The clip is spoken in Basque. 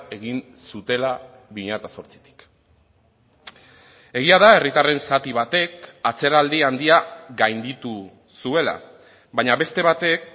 egin zutela bi mila zortzitik egia da herritarren zati batek atzeraldi handia gainditu zuela baina beste batek